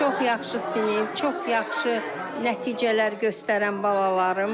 Çox yaxşı sinif, çox yaxşı nəticələr göstərən balalarım.